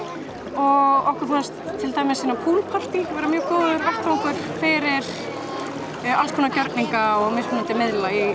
og okkur fannst til dæmis svona pool partý vera mjög góður vettvangur fyrir alls konar gjörninga og mismunandi miðla í